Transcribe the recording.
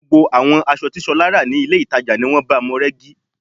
Gbogbo àwọn aṣọ tí Ṣọlá rà ní ilé-ìtàjàni wọ́n báamu rẹ́gí